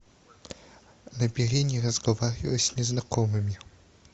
набери не разговаривай с незнакомыми